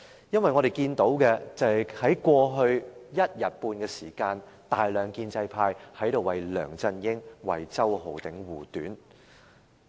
因為過去一天半的時間，大量建制派議員在這裏為梁振英、為周浩鼎議員護短。